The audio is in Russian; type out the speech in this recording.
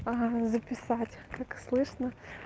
записать как слышно